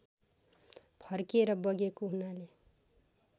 फर्केर बगेको हुनाले